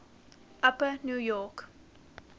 upper new york